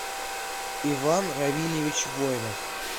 иван равильевич воинов